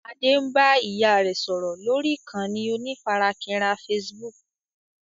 Adé ń bá ìyá rẹ sọ̀rọ̀ lórí ìkànnì onífarakínra Facebook